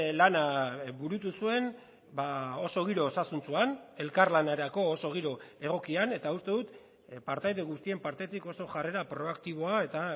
lana burutu zuen oso giro osasuntsuan elkarlanerako oso giro egokian eta uste dut partaide guztien partetik oso jarrera proaktiboa eta